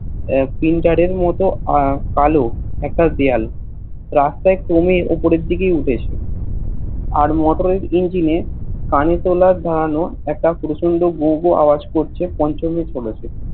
printer এর মত কালো একটা দেওয়াল রাস্তার ক্রমে উপরের দিকে উঠেছে আর Motor এর Engine এ কানে তোলা নাড়ানো একটা পঞ্চমী আবাজ করছে